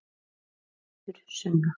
Þín Hildur Sunna.